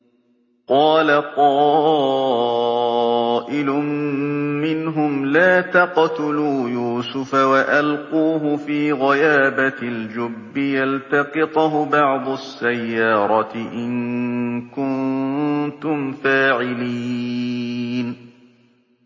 قَالَ قَائِلٌ مِّنْهُمْ لَا تَقْتُلُوا يُوسُفَ وَأَلْقُوهُ فِي غَيَابَتِ الْجُبِّ يَلْتَقِطْهُ بَعْضُ السَّيَّارَةِ إِن كُنتُمْ فَاعِلِينَ